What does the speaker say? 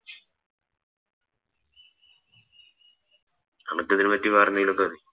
അനക്ക് ഇതിനെ പറ്റി വേറെന്തെങ്കിലൊക്കെ അറിയോ